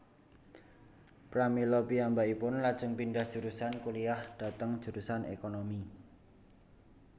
Pramila piyambakipun lajeng pindhah jurusan kuliyah dhateng jurusan ékonomi